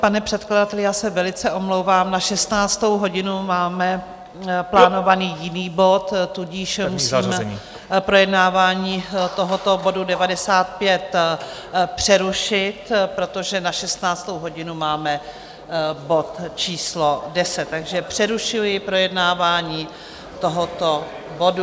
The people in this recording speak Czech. Pane předkladateli, já se velice omlouvám, na 16. hodinu máme plánovaný jiný bod, tudíž musíme projednávání tohoto bodu 95 přerušit, protože na 16. hodinu máme bod číslo 10, takže přerušuji projednávání tohoto bodu.